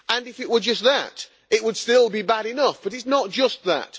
If it were just that, it would still be bad enough, but it is not just that